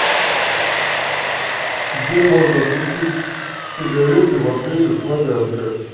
где можно купить сигареты в отеле славянка